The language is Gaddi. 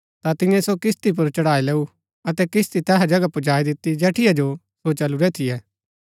ता तियें सो किस्ती पुर चढ़ाई लैऊं अतै किस्ती तैहा जगह पुजाई दिती जैठिया जो सो चलुरै थियै